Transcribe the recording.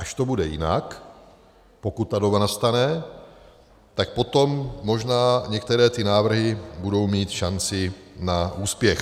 Až to bude jinak, pokud ta doba nastane, tak potom možná některé ty návrhy budou mít šanci na úspěch.